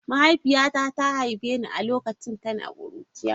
Mahaifiyata ta haife ni a lokacin tana kuruciya.